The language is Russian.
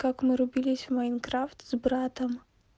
как мы рубились в майнкрафт с братом